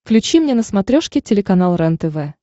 включи мне на смотрешке телеканал рентв